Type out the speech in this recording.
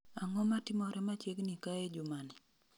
Ang'o matimore machiegni kae juma ni